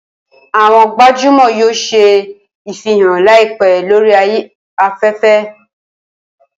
Awọn gbajumọ yoo ṣe ifihan laipẹ lori afẹfẹ.